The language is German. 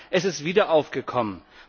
Es ist wieder aufgekommen.